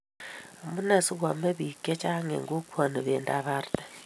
Amunee si ko ame biik che chang eng kokwoni bindab arte?